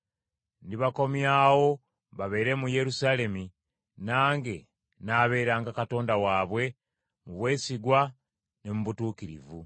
Ndibakomyawo, babeere mu Yerusaalemi, nange nnaabeeranga Katonda waabwe mu bwesigwa ne mu butuukirivu.”